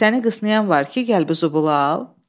Səni qısnayan var ki, gəl bu zobulu al?